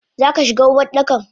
Zaka shigo Uwardakan?